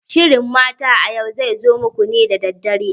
Shirin Mata a Yau zai zo muku ne da dare.